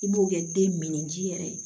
I b'o kɛ den min ji yɛrɛ ye